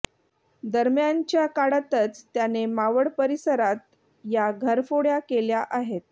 दरम्यानच्या काळातच त्याने मावळ परिसरात या घरफोड्या केल्या आहेत